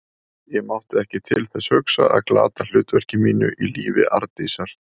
Ég mátti ekki til þess hugsa að glata hlutverki mínu í lífi Arndísar.